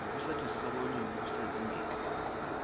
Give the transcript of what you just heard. nokusetshenziswa kolimi kusezingeni